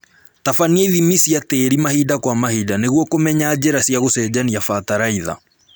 Tabania ithimi cia tĩri mahinda kwa mahinda nĩguo kũmenya njĩra cia gũcenjia bataraitha